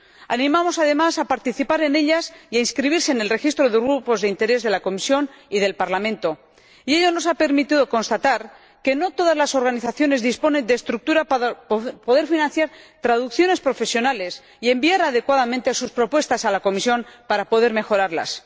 Animamos, además, a participar en ellas y a inscribirse en el registro de grupos de interés de la Comisión y del Parlamento, lo que nos ha permitido constatar que no todas las organizaciones disponen de estructura para poder financiar traducciones profesionales y enviar adecuadamente sus propuestas a la Comisión para poder mejorarlas.